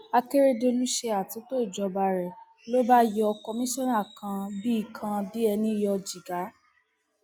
akèrèdọlù ṣe àtúntò ìjọba rẹ ló bá yọ kọmíṣánná kan bíi kan bíi ẹni yọ jìgá